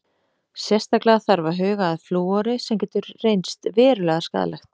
Sérstaklega þarf að huga að flúori sem getur reynst verulega skaðlegt.